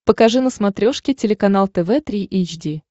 покажи на смотрешке телеканал тв три эйч ди